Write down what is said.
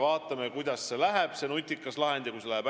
Vaatame, kuidas seal selle nutika lahendiga läheb.